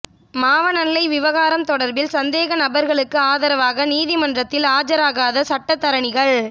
மாவனல்லை விவகாரம் தொடர்பில் சந்தேக நபர்களுக்கு ஆதரவாக நீதிமன்றத்தில் ஆஜராகாத சட்டத்தரணிகள்